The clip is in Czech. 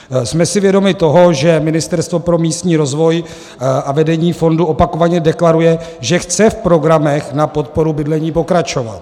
Jsme si vědomi toho, že Ministerstvo pro místní rozvoj a vedení fondu opakovaně deklaruje, že chce v programech na podporu bydlení pokračovat.